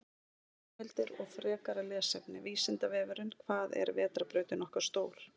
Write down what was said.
Heimildir og frekara lesefni: Vísindavefurinn: Hvað er vetrarbrautin okkar stór?